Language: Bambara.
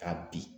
Ka bin